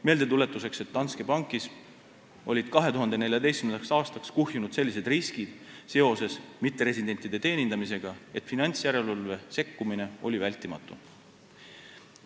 Meeldetuletuseks, Danske Bankis olid 2014. aastaks mitteresidentide teenindamise tõttu kuhjunud sellised riskid, et finantsjärelevalve sekkumine oli vältimatu.